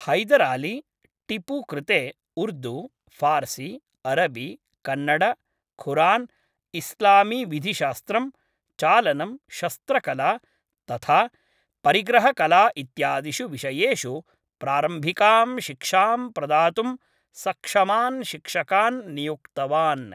हैदर् अली, टीपू कृते उर्दू, फार्सी, अरबी, कन्नड, खुरान्, इस्लामी विधिशास्त्रं, चालनं, शस्त्रकला, तथा परिग्रहकला इत्यादिषु विषयेषु प्रारम्भिकां शिक्षां प्रदातुं सक्षमान् शिक्षकान् नियुक्तवान्।